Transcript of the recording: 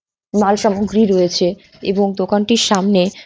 মাল সামগ্রী রয়েছে এবং দোকানটির সামনে।